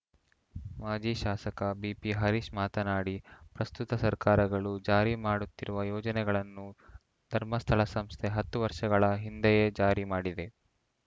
ಮಾಜಿ ಶಾಸಕ ಬಿಪಿ ಹರಿಶ್‌ ಮಾತನಾಡಿ ಪ್ರಸ್ತುತ ಸರ್ಕಾರಗಳು ಜಾರಿ ಮಾಡುತ್ತಿರುವ ಯೋಜನೆಗಳನ್ನು ಧರ್ಮಸ್ಥಳ ಸಂಸ್ಥೆ ಹತ್ತು ವರ್ಷಗಳ ಹಿಂದೆಯೇ ಜಾರಿ ಮಾಡಿದೆ